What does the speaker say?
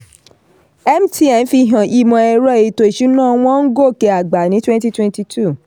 mtn fi hàn ìmọ̀-ẹ̀rọ-ètò-ìsúná wọn ń gòkè àgbà ní twenty twenty two.